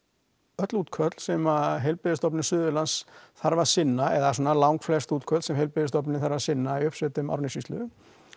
öll útköll sem Heilbrigðisstofnum Suðurlands þarf að sinna eða svona lang flest útköll sem heilbrigðisstofnunin þarf að sinna í uppsveitum Árnessýslu